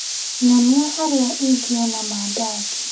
Nyonia harĩa ingĩona mandathi.